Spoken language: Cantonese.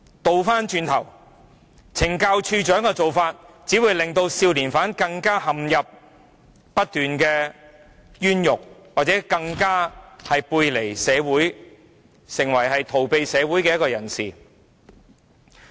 相反，署長卻任由少年犯不斷陷入冤獄，使他們背離社會，成為逃避社會的人。